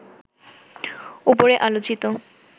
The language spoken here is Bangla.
ওপরে আলোচিত